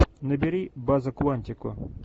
набери база куантико